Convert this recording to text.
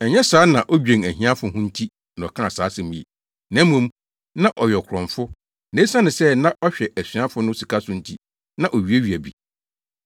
Ɛnyɛ sɛ na odwen ahiafo ho nti na ɔkaa saa asɛm yi, na mmom, na ɔyɛ ɔkorɔmfo, na esiane sɛ na ɔhwɛ asuafo no sika so nti, na owiawia bi.